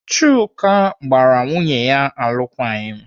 Chuka gbara nwunye ya alụkwaghịm.